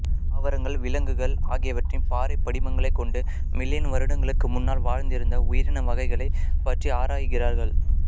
தாவரங்கள் விலங்குகள் ஆகியவற்றின் பாறைப் படிமங்களைக் கொண்டு மில்லியன் வருடங்களுக்கு முன்னால் வாழ்ந்திருந்த உயிரின வகைகளைப் பற்றி ஆராய்கிறார்கள்